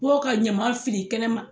Bɔ ka ɲama fili kɛnɛ ma.